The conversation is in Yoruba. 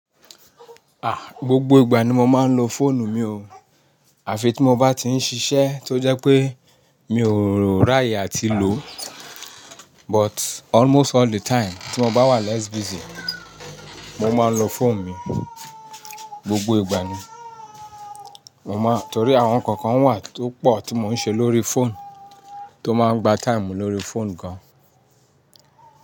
Ah, gbogbo ìgbà ni mo máa ń lo fóònù mi ò. Àfi tí mo bá ti ń ṣiṣẹ́ tó jẹ́ pé mi ò ráàyè àti lò. But almost all the time tí mo bá wà less busy, mo máa ń lo fóònù mi. Gbogbo ìgbà ni. Mo ma ń, torí àwọn nǹkan kán wà tó pọ̀ tí mo ń ṣe lórí fóònù, tó máa ń gba time lórí fóònù gan.